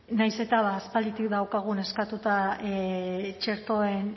nahiz eta ba aspalditik daukagun eskatuta txertoen